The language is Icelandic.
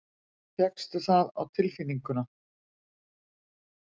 Fékkstu það á tilfinninguna?